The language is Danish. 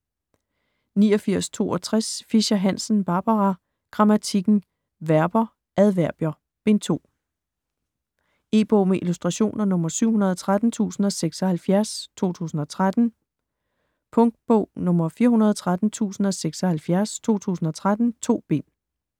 89.62 Fischer-Hansen, Barbara: Grammatikken: Verber, adverbier: Bind 2 E-bog med illustrationer 713076 2013. Punktbog 413076 2013. 2 bind.